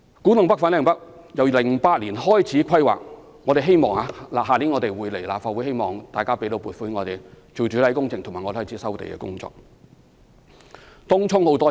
古洞北/粉嶺北新發展區由2008年開始規劃，我們明年將會提交立法會審議，希望立法會會批准撥款開展主體工程和展開收地工作。